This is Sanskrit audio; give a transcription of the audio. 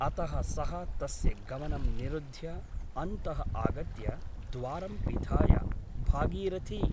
अतः सः तस्य गमनं निरुध्य अन्तः आगत्य द्वारं पिधाय भागीरथि !